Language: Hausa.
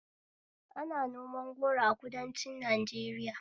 Ana noman goro a kudancin Najeriya